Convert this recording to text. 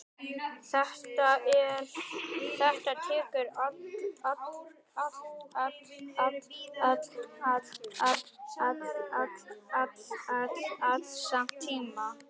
Þetta tekur allt saman tíma.